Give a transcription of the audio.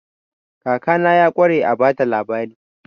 Kakana ya ƙware a ba da labari.